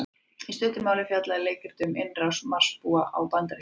Í stuttu máli fjallaði leikritið um innrás Marsbúa á Bandaríkin.